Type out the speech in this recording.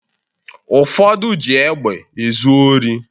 Ụfọdụ ji egbe ezu ori